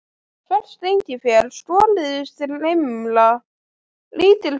Ferskt engifer, skorið í strimla, lítill bútur